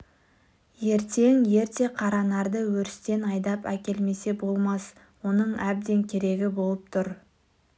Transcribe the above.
ертең ерте қаранарды өрістен айдап әкелмесе болмас оның әбден керегі болып тұр